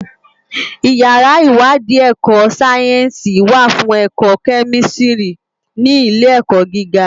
Iyàrá iwàdí èkò sáyènsí wá fún èkò kèmístìrí ni ilé èkò gigá